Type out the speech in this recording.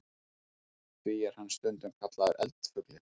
Því er hann stundum kallaður eldfuglinn.